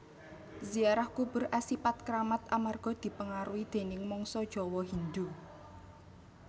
Ziarah kubur asipat kramat amarga dipengaruhi déning mangsa Jawa Hindhu